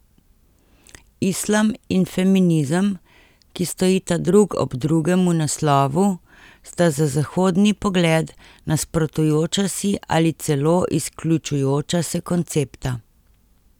Islam in feminizem, ki stojita drug ob drugem v naslovu, sta za zahodni pogled nasprotujoča si ali celo izključujoča se koncepta.